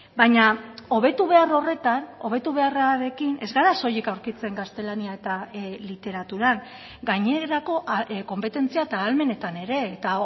baina hobetu behar horretan hobetu beharrarekin ez gara soilik aurkitzen gaztelania eta literaturan gainerako konpetentzia eta ahalmenetan ere eta